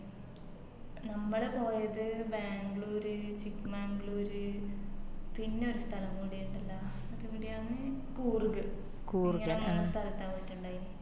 നമ്മള് പോയത് Bangalore Chikmangalore ര് പിന്നെ ഒരു സ്ഥലം കൂടി ഇണ്ടല്ലോ അതെവിടെയാന്ന് Coorg ഇങ്ങനെ മൂന്ന് സ്ഥലത്താ പോയിറ്റിണ്ടായിന്